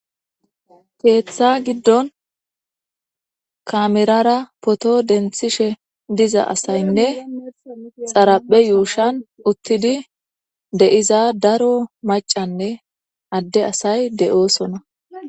keeththa giddon kamerara poto denthishe diza asaynne xaraphe yuushan uttidi de7iza daro macanne adde asay de7oosona